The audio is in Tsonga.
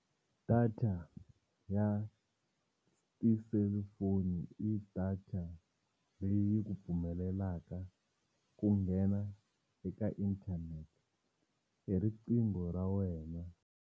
Data ya ti-cellphone i data leyi ku pfumelelaka ku nghena eka internet hi riqingho ra wena.